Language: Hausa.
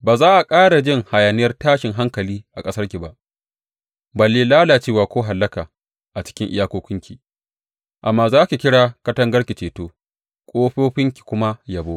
Ba za a ƙara jin hayaniyar tashin hankali a ƙasarki ba, balle lalacewa ko hallaka a cikin iyakokinki, amma za ki kira katangarki Ceto ƙofofinki kuma Yabo.